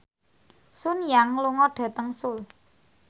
Sun Yang lunga dhateng Seoul